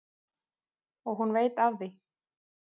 Og hún veit af því.